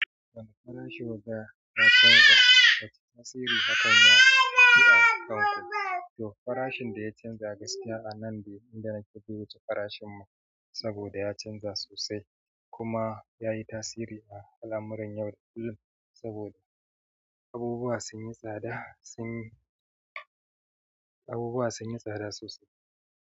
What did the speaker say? Wanda farashi waga ya canza, wace tasiri hakan ya yi a kan ku? To farashin da ya canza gaskiya a nan be inda nake zuwa jiya farashin mota saboda ya canza sosai kuma ya yi tasiri a al'amuran yau da kullum saboda abubuwa sun yi tsada sun yi abubuwa sun yi tsada sosai.